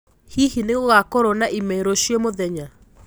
hĩhĩ nigugakorwo na ime ruciu mũthenya